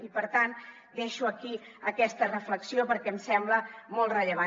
i per tant deixo aquí aquesta reflexió perquè em sembla molt rellevant